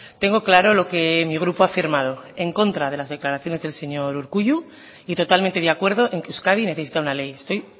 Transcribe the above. tengo claro lo que mi grupo ha firmado en contra de las declaraciones del señor urkullu y totalmente de acuerdo en que euskadi necesita una ley estoy